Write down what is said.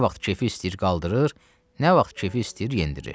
Nə vaxt kefi istəyir qaldırır, nə vaxt kefi istəyir endirir.